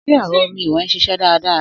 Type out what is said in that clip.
Sé ẹ̀rọ omi ìwè n ṣiṣẹ́ dáradára?